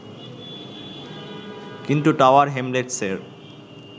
কিন্তু টাওয়ার হ্যামলেটসের